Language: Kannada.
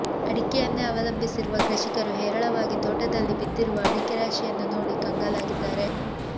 ಅಡಿಕೆಯನ್ನೇ ಅವಲಂಬಿಸಿರುವ ಕೃಷಿಕರು ಹೇರಳವಾಗಿ ತೋಟದಲ್ಲಿ ಬಿದ್ದಿರುವ ಅಡಿಕೆ ರಾಶಿಯನ್ನು ನೋಡಿ ಕಂಗಾಲಾಗಿದ್ದಾರೆ